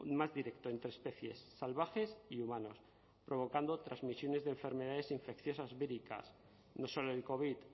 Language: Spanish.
más directo entre especies salvajes y humanos provocando transmisiones de enfermedades infecciosas víricas no solo el covid